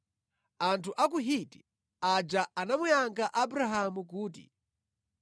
Anthu a ku Hiti aja anamuyankha Abrahamu kuti,